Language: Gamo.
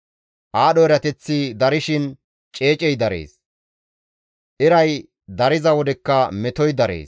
Aadho erateththi darshin ceecey darees; eray dariza wodekka metoy darees.